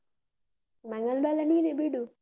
ಮಂಗನ್ ಬಾಲ ನೀನೆ ಬಿಡು.